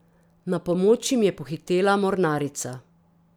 Na pomoč jim je pohitela mornarica.